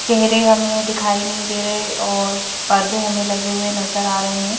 चेहरे हमें दिखाई नहीं दे रहे और पर्दे हमें लगे हुए नजर आ रहे है।